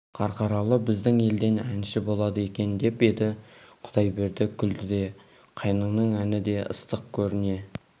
қарқаралы біздің елден әнші болады екен деп еді құдайберді күлді де қайныңның әні де ыстық көріне